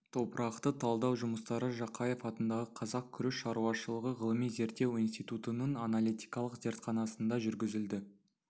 топырақты талдау жұмыстары жақаев атындағы қазақ күріш шаруашылығы ғылыми-зерттеу институтының аналитикалық зертханасында жүргізілді